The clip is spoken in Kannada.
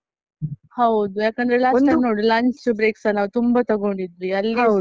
ಹೌದು ಯಾಕಂದ್ರೆ last time ನೋಡು lunch break ಸ ನಾವು ತುಂಬಾ ತಗೊಂಡಿದ್ವಿ ಅಲ್ಲಿಸ.